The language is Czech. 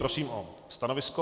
Prosím o stanovisko.